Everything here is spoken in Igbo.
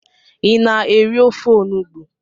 I na-eri ofe onugbo?